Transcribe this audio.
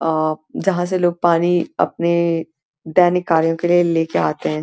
आ प जहां से लोग पानी अपने दैनिक कार्यों के लिए लेके आते हैं।